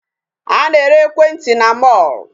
A na-ere ekwentị na mall.